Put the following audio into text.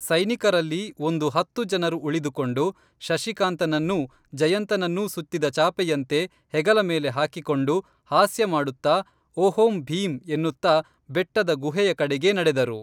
ಸೈನಿಕರಲ್ಲಿ ಒಂದು ಹತ್ತು ಜನರು ಉಳಿದುಕೊಂಡು ಶಶಿಕಾಂತನನ್ನೂ ಜಯಂತನನ್ನೂ ಸುತ್ತಿದ ಚಾಪೆಯಂತೆ ಹೆಗಲ ಮೇಲೆ ಹಾಕಿಕೊಂಡು ಹಾಸ್ಯ ಮಾಡುತ್ತಾ ಒಹೋಂ ಭೀಮ್ ಎನ್ನುತ್ತಾ ಬೆಟ್ಟದ ಗುಹೆಯ ಕಡೆಗೇ ನಡೆದರು